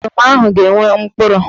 Oroma ahụ ga-enwe mkpụrụ.